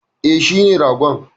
E, shine ragon.